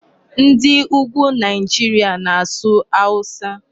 Ndị Ugwu Nigeria na-asụ Hausa.